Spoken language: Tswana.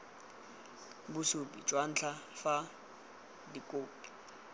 bosupi jwa ntlha fa dikhopi